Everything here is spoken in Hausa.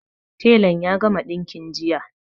Telan ya gama ɗinkin jiya